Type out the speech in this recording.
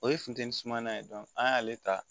O ye funteni suma ye an y'ale ta